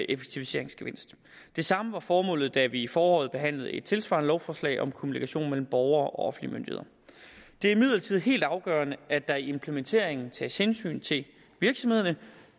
effektiviseringsgevinst det samme var formålet da vi i foråret behandlede et tilsvarende lovforslag om kommunikation mellem borgere og offentlige myndigheder det er imidlertid helt afgørende at der i implementeringen tages hensyn til virksomhederne